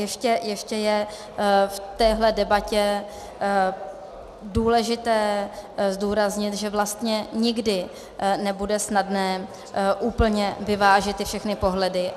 Ještě je v téhle debatě důležité zdůraznit, že vlastně nikdy nebude snadné úplně vyvážit ty všechny pohledy.